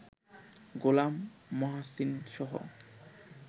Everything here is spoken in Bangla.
গোলাম মহাসিনসহ